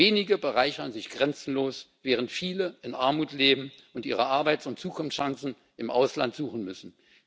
Wenige bereichern sich grenzenlos, während viele in Armut leben und ihre Arbeits und Zukunftschancen im Ausland suchen müssen.